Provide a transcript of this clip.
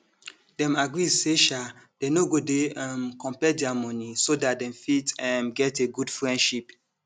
dem agree say um dey no go dey um compare their money so dat dem fit um get a good friendship